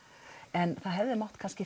en það hefði mátt